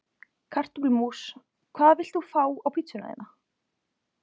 Kartöflumús Hvað vilt þú fá á pizzuna þína?